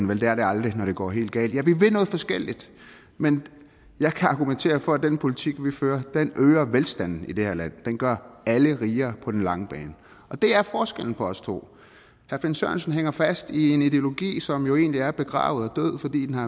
vel det er det aldrig når det går helt galt ja vi vil noget forskelligt men jeg kan argumentere for at den politik vi fører øger velstanden i det her land det gør alle rigere på den lange bane det er forskellen på os to herre finn sørensen hænger fast i en ideologi som jo egentlig er begravet